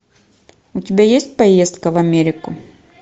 у тебя есть поездка в америку